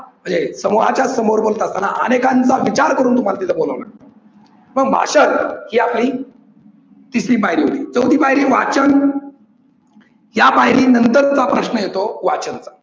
समूहाच्या समोर बोलत असतांना अनेकांचा विचार करून बाकीच बोलाव. मग भाषण यातही तिसरी पायरी आहे. चौथी पायरी वाचन या पायरी नंतर चा प्रश्न येतो वाचन